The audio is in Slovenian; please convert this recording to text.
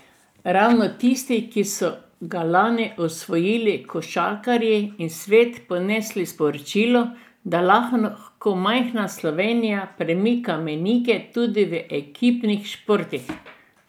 Ravno tisti, ki so ga lani osvojili košarkarji in v svet ponesli sporočilo, da lahko majhna Slovenija premika mejnike tudi v ekipnih športih.